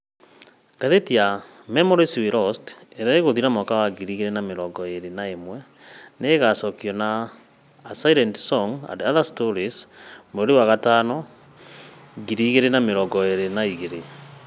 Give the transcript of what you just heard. Ngathĩti ya 'Memories we Lost ' ĩrĩa ĩgũthira mwaka wa ngiri igĩrĩ na mĩrongo ĩrĩ na ĩmwe nĩ ĩgaacokio na 'A Silent song and other Stories ' mweri wa May, ngiri igĩrĩ na mĩrongo ĩrĩ na igĩrĩ.